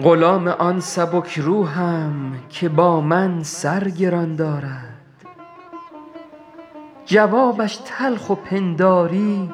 غلام آن سبک روحم که با من سر گران دارد جوابش تلخ و پنداری